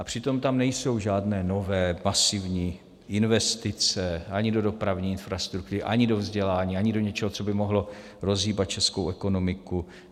A přitom tam nejsou žádné nové masivní investice ani do dopravní infrastruktury, ani do vzdělání, ani do ničeho, co by mohlo rozhýbat českou ekonomiku.